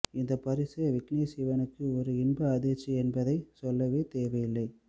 இந்த பரிசு விக்னேஷ் சிவனுக்கு ஒரு இன்ப அதிர்ச்சி என்பதை சொல்லவே தேவையில்லை